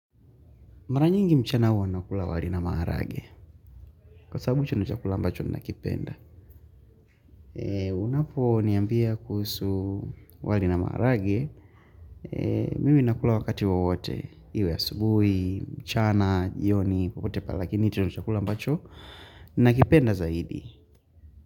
Mara nyingi mchana huwa nakula wali na maharage. Kwa sababu hicho ndo chakula ambacho nina kipenda. Unapo niambia kuhusu wali na maharage mimi nakula wakati wowote iwe asubuhi, mchana, jioni, popote pale lakini hicho ndicho chakula ambacho, nina kipenda zaidi.